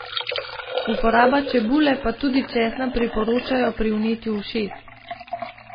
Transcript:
Uporabo čebule pa tudi česna priporočajo pri vnetju ušes.